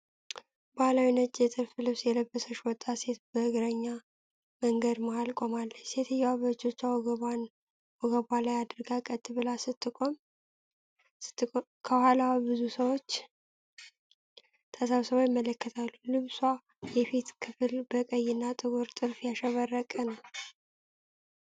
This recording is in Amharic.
ባሕላዊ ነጭ የጥልፍ ልብስ የለበሰች ወጣት ሴት በእግረኛ መንገድ መሀል ቆማለች። ሴትየዋ እጆቿን በወገቧ ላይ አድርጋ ቀጥ ብላ ስትቆም፣ ከኋላዋ ብዙ ሰዎች ተሰብስበው ይመለከታሉ። የልብሷ የፊት ክፍል በቀይ እና ጥቁር ጥልፍ ያሸበረቀ ነው።